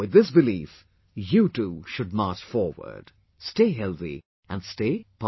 With this belief, you too should march forward, stay healthy and stay positive